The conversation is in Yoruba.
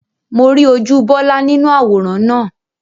Mo rí ojú Bọlá nínú àwòrán náà